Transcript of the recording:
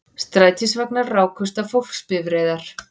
Strætisvagnar rákust á fólksbifreiðar